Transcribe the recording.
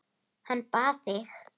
Hann bað þig.